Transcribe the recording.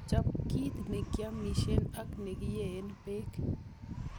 Chop kit nekiomisien ak nekiyeen beek.